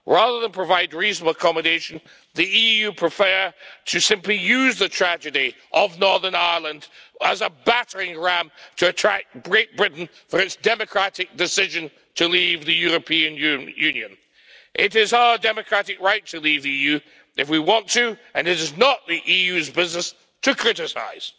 Rather than provide reasonable accommodation, the EU prefers simply to use the tragedy of Northern Ireland as a battering ram to attack Great Britain for its democratic decision to leave the European Union. It is our democratic right to leave the EU if we want to, and it is not the EU's business to criticise.